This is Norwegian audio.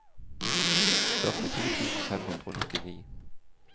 førtito tusen fem hundre og nittini